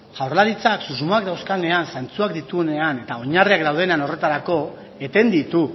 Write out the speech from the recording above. jaurlaritzak susmoak dauzkanean zantzuak dituenean eta oinarriak daudenean horretarako eten ditu